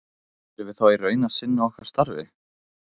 Erum við þá í raun að sinna okkar starfi?